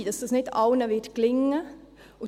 Es kann sein, dass das nicht allen gelingen wird.